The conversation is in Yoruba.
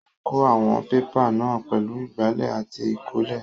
Ó kó àwọn pépà náà pẹ̀lú ìgbálẹ̀ àti ìkọ́lé.